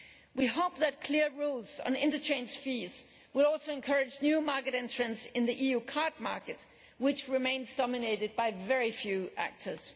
We hope that clear rules on interchange fees will also encourage new market entrants in the EU card market, which remains dominated by very few actors.